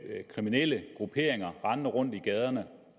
kriminelle grupperinger rendende rundt i gaderne